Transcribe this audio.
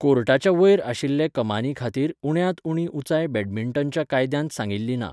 कोर्टाच्या वयर आशिल्ले कमानी खातीर उण्यांत उणी उंचाय बॅडमिंटनच्या कायद्यांत सांगिल्ली ना.